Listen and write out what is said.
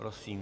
Prosím.